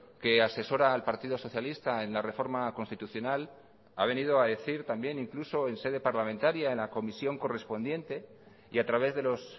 que asesora al partido socialista en la reforma constitucional ha venido a decir también incluso en sede parlamentaria en la comisión correspondiente y a través de los